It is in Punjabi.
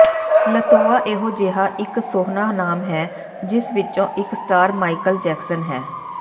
ਲਤੋਆ ਇਹੋ ਜਿਹਾ ਇੱਕ ਸੋਹਣਾ ਨਾਮ ਹੈ ਜਿਸ ਵਿੱਚੋਂ ਇਕ ਸਟਾਰ ਮਾਈਕਲ ਜੈਕਸਨ ਹੈ